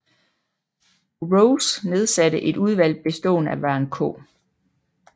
Groves nedsatte et udvalg bestående af Warren K